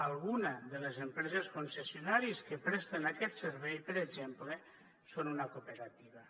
alguna de les empreses concessionàries que presten aquest servei per exemple són una cooperativa